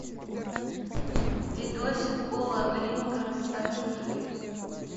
видосик пола гринграсса чужие